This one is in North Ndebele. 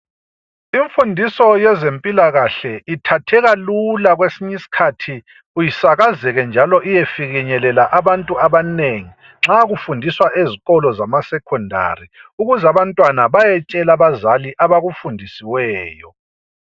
Imfundiso yezempilakahle ithatheka lula kwesinyisikhathi isakazeke njalo iyefinyelela abantu abanengi nxa kufundiswa ezikolo zamasecondary ukuze abantwana bayetshela abazali abakufundisiweyo.